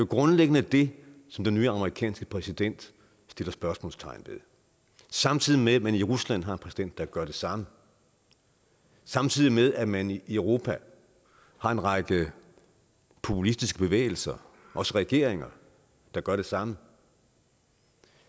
grundlæggende det som den nye amerikanske præsident sætter spørgsmålstegn ved samtidig med at man i rusland har en præsident der gør det samme samtidig med at man i europa har en række populistiske bevægelser også regeringer der gør det samme